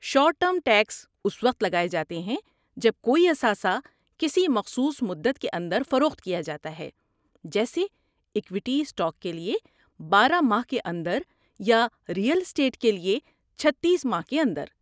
short term tax اس وقت لگائے جاتے ہیں جب کوئی اثاثہ کسی مخصوص مدت کے اندر فروخت کیا جاتا ہے جیسے ایکویٹی اسٹاک کے لیے بارہ ماہ کے اندر یا ریئل اسٹیٹ کے لیے چھتیس ماہ کے اندر